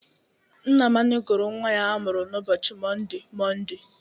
Nnamani gụrụ nnwa ya a mụrụ n'ụbochi Monde, Monde.